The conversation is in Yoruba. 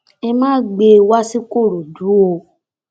ẹ má gbé e wá sìkòròdú o